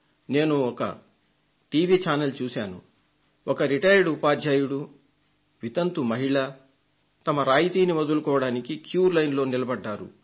నేనొక TV channel చూశాను ఒక విశ్రాంత ఉపాధ్యాయుడు వితంతు మహిళ తమ రాయితీని వదులుకోవడానికి బారులు తీరి నిలబడ్డారు